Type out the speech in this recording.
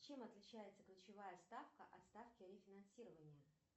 чем отличается ключевая ставка от ставки рефинансирования